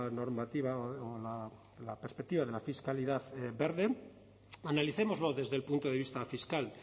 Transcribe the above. normativa la perspectiva de la fiscalidad verde analicémoslo desde el punto de vista fiscal